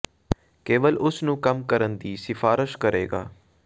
ਕੇਵਲ ਉਸ ਨੂੰ ਕੰਮ ਕਰਨ ਲਈ ਦੀ ਸਿਫਾਰਸ਼ ਕਰੇਗਾ